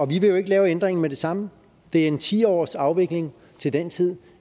vil jo ikke lave ændringen med det samme det er en ti årsafvikling til den tid